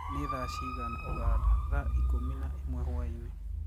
ni thaa cĩĩgana ũganda thaa ĩkũmĩ na ĩmwe hwaĩnĩ